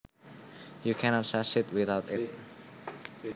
You cannot succeed without it